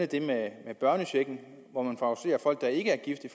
det med børnechecken hvor man favoriserer folk der ikke er gift i